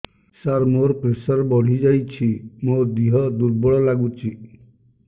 ସାର ମୋର ପ୍ରେସର ବଢ଼ିଯାଇଛି ମୋ ଦିହ ଦୁର୍ବଳ ଲାଗୁଚି